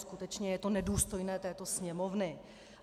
Skutečně je to nedůstojné této Sněmovny.